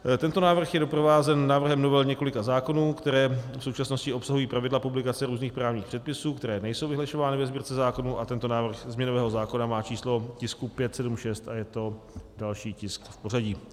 Tento návrh je doprovázen návrhem novel několika zákonů, které v současnosti obsahují pravidla publikace různých právních předpisů, které nejsou vyhlašovány ve Sbírce zákonů, a tento návrh změnového zákona má číslo tisku 576 a je to další tisk v pořadí.